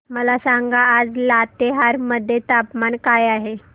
मला सांगा आज लातेहार मध्ये तापमान काय आहे